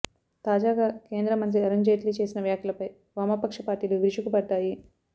తాజాగా కేంద్ర మంత్రి అరుణ్ జైట్లీ చేసిన వ్యాఖ్యలపై వామపక్ష పార్టీలు విరుచుకుపడ్డాయి